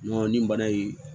nin bana in